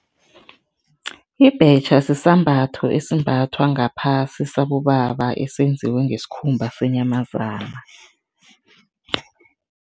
Ibhetjha sisambatho esimbathwa ngaphasi, sabobaba, esenziwe ngesikhumba senyamazana.